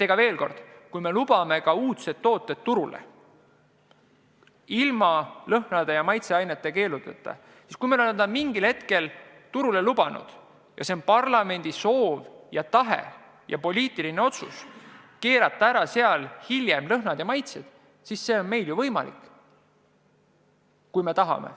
Veel kord: kui me oleme lubanud uudsed tooted turule ilma lõhna- ja maitseaineid keelamata, kui me oleme need mingil hetkel turule lubanud, siis kui nüüd on parlamendi soov ja tahe teha poliitiline otsus ja keelata lõhnad ja maitsed ära, siis see on võimalik, kui me seda tahame.